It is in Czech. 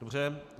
Dobře.